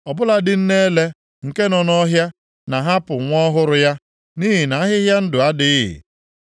Ọ bụladị nne ele, nke nọ nʼọhịa, na-ahapụ nwa ọhụrụ ya, nʼihi na ahịhịa ndụ adịghị.